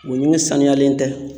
O ɲɛgɛn sanuyalen tɛ